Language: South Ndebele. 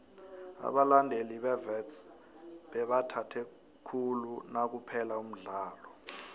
abalandeli bewits bebathabe khulu nakuphela umdlalo